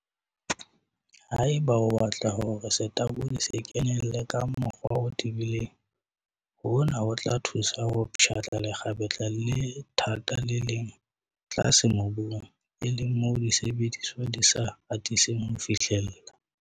Haeba o batla hore setabodi se kenelle ka mokgwa o tebileng, hona ho tla thusa ho pshatla lekgapetla le thata le leng tlase mobung, e leng moo disebediswa di sa atiseng ho fihlella.